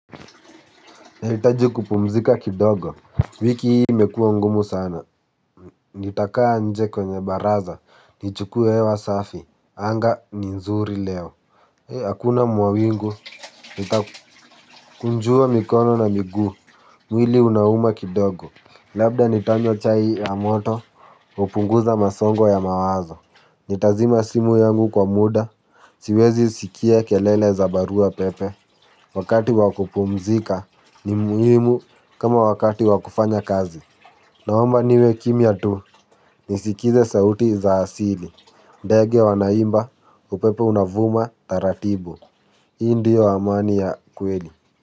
Nahitaji kupumzika kidogo, wiki hii imekua ngumu sana, nitakaa nje kwenye baraza, nichukue hewa safi, anga ni nzuri leo. Hakuna mawingu, nitakunjua mikono na miguu, mwili unauma kidogo, labda nitanywa chai ya moto, hupunguza masongo ya mawazo. Nitazima simu yangu kwa muda, siwezi sikia kelele za barua pepe. Wakati wa kupumzika ni muhimu kama wakati wa kufanya kazi. Naomba niwe kimya tu, nisikize sauti za asili. Ndege wanaimba, upepo unavuma taratibu. Hii ndio amani ya kweli.